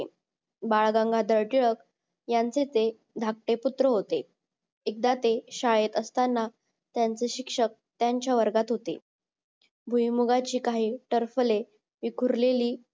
बाळ गंगाधर टिळक यांचे ते धाकटे पुत्र होते एकदा ते शाळेत असताना त्यांचे शिक्षक त्यांच्या वर्गात होते भुईमुगाची काही टरफले विखुरलेली